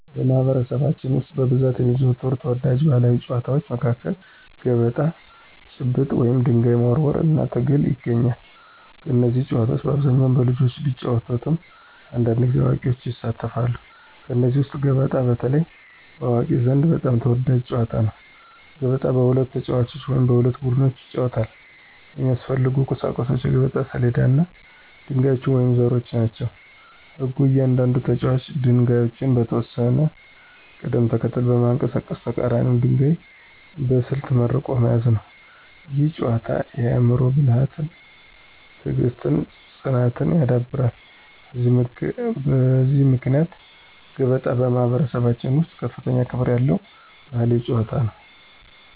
በማኅበረሰባችን ውስጥ በብዛት የሚዘወተሩ ተወዳጅ ባሕላዊ ጨዋታዎች መካከል ገበጣ፣ ጭብጥ (ድንጋይ መወርወር) እና ትግል ይገኛሉ። እነዚህ ጨዋታዎች በአብዛኛው በልጆች ቢጫወቱም አንዳንድ ጊዜ አዋቂዎችም ይሳተፋሉ። ከእነዚህ ውስጥ ገበጣ በተለይ በአዋቂዎች ዘንድ በጣም የተወደደ ጨዋታ ነው። ገበጣ በሁለት ተጫዋቾች ወይም በሁለት ቡድኖች ይጫወታል። የሚያስፈልጉት ቁሳቁሶች የገበጣ ሰሌዳ እና ድንጋዮች ወይም ዘሮች ናቸው። ሕጉ እያንዳንዱ ተጫዋች ድንጋዮቹን በተወሰነ ቅደም ተከተል በማንቀሳቀስ የተቀራኒውን ድንጋይ በስልት መርቆ መያዝ ነው። ይህ ጨዋታ የአእምሮ ብልሃትን፣ ትዕግሥትን እና ፅናትን ያዳብራል። በዚህ ምክንያት ገበጣ በማኅበረሰባችን ውስጥ ከፍተኛ ክብር ያለው ባሕላዊ ጨዋታ ነው።